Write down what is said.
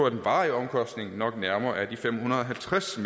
at den varige omkostning nok nærmere er de fem hundrede og halvtreds